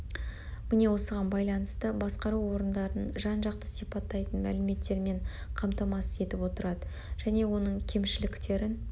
міне осыған байланысты басқару орындарын жан жақты сипаттайтын мәліметтермен қамтамасыз етіп отырады және оның кемшіліктерін